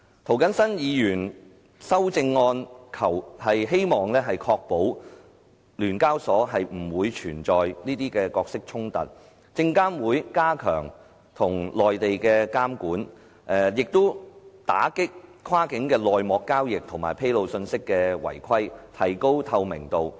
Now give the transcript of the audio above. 涂謹申議員的修正案希望確保聯交所不會存在角色衝突、證監會加強與內地的監管，打擊跨境的內幕交易及披露信息的違規，提高透明度。